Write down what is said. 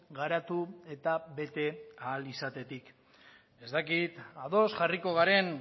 garatu eta bete ahal izatetik ez dakit ados jarriko garen